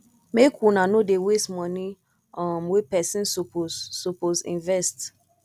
make una nor dey waste moni um wey pesin suppose suppose invest